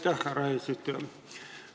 Aitäh, härra eesistuja!